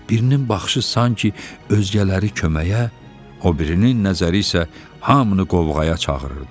Birinin baxışı sanki özgələri köməyə, o birinin nəzəri isə hamını qovğaya çağırırdı.